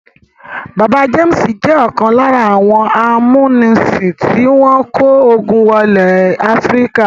Bàbá James jẹ́ ọ̀kan lára àwọn amúnisìn tí wọ́n kó ogun wọ ilẹ̀ Áfíríkà.